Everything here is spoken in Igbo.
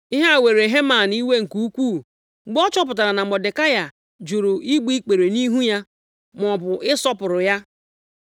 Ihe a were Heman iwe nke ukwuu mgbe ọ chọpụtara na Mọdekai jụrụ igbu ikpere nʼihu ya, maọbụ ịsọpụrụ ya.